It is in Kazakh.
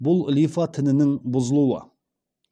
бұл лимфа тінінің бұзылуы